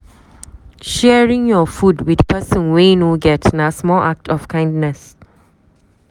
Sharing your food with person wey no get na small act of kindness.